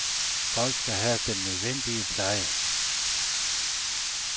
Folk skal have den nødvendige pleje.